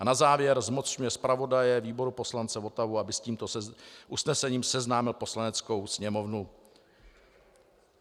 A na závěr zmocňuje zpravodaje výboru poslance Votavu, aby s tímto usnesením seznámil Poslaneckou sněmovnu.